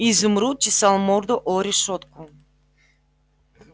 изумруд чесал морду о решётку